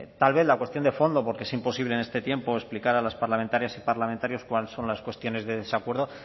tal vez la cuestión de fondo porque es imposible en este tiempo explicar a las parlamentarias y parlamentarios cuáles son las cuestiones de desacuerdo